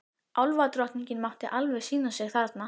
Álfadrottningin mátti alveg sýna sig þarna.